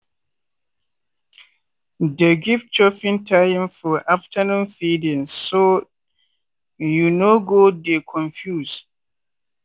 dey give chopping time for afternoon feedingso you no go dey confuse.